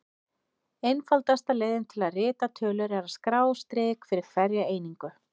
Einfaldasta leiðin til að rita tölur er að skrá strik fyrir hverja einingu.